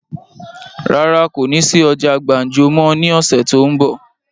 Rárá o, kó ní sí ọjà gbàǹjo máa ní ọ̀sẹ̀ tó ún bọ̀.